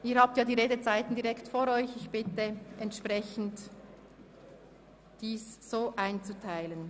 Sie finden die Redezeiten im Antrag aufgeführt, und ich bitte Sie, sich so einzuteilen.